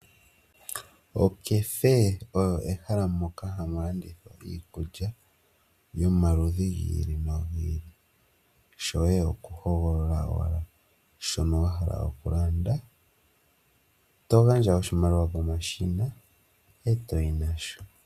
Okefe oyo ehala moka hamu landithwa iikulya yomaludhi gi ili nogi ili, shoye okuhogolola owala shono wa hala okulanda to gandja oshimaliwa pomashina e toyi nasho.